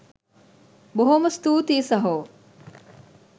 බොහොම ස්තුතියි සහෝ.